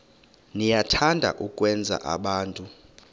niyathanda ukwenza abantu